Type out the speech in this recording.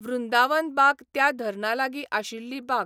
वृंदावन बाग त्या धरणा लागीं आशिल्ली बाग.